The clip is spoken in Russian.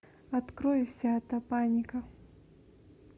открой вся эта паника